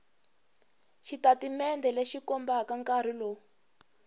xitatimende lexi kombaka nkarhi lowu